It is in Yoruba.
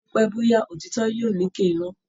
Bópẹ́ bóyá òtítọ́ yóò lékè Irọ́